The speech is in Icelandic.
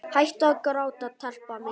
Hættu að gráta, telpa mín.